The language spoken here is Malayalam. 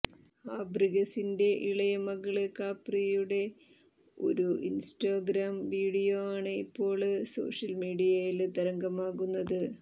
ഫാബ്രിഗസിന്റെ ഇളയ മകള് കാപ്രിയുടെ ഒരു ഇന്സ്റ്റഗ്രാം വീഡിയോ ആണ് ഇപ്പോള് സോഷ്യല് മീഡിയയില് തരംഗമാകുന്നത്